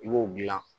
I b'o dilan